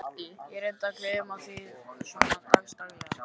Ég reyni að gleyma því svona dags daglega.